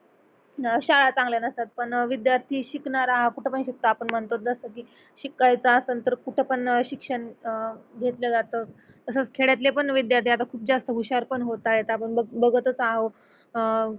अह शाळा चांगल्या नसतात पण विद्यार्थी शिकणारा हा कुठ पण शिकतो आपण म्हणतो जस की शिकायच असन तर कुठे पण शिक्षण अह घेतल्या जात तसच खेड्यातले पण विद्यार्थी आता खूप जास्त हुशार पण होत आहे आपण बघतच आहो अह